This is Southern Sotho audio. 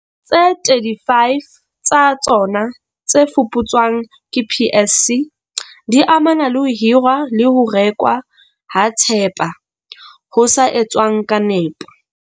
Tse 35 tsa tsona tse fuputswang ke PSC, di amana le ho hirwa le ho rekwa ha thepa ho sa etswang ka nepo.